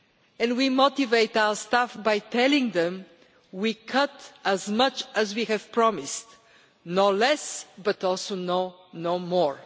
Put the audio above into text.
and we motivate our staff by telling them we are cutting as much as we have promised no less, but also no more.